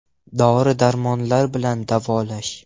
Dori – darmonlar bilan davolash.